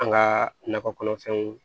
An ka nakɔ kɔnɔfɛnw